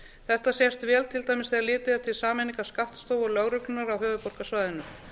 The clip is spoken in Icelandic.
þetta sést vel til dæmis þegar litið er til sameiningar skattstofu og lögreglunnar á höfuðborgarsvæðinu